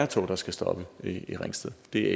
tog der skal stoppe i ringsted det